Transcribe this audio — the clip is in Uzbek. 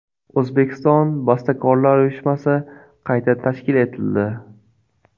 O‘zbekiston bastakorlar uyushmasi qayta tashkil etildi.